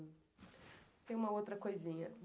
Tem uma outra coisinha.